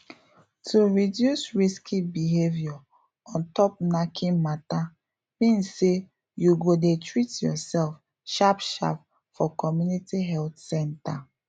to reduce risky behavior ontop knacking matter mean say you go dey treat yourself sharp sharp for community health centre